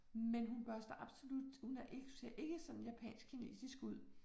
Men hun børster absolut hun er ikke hun ser ikke japansk kinesisk ud